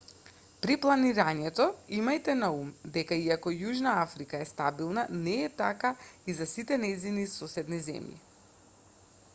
при планирањето имајте на ум дека иако јужна африка е стабилна не е така и за сите нејзини соседни земји